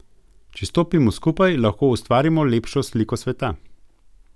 Če stopimo skupaj, lahko ustvarimo lepšo sliko sveta.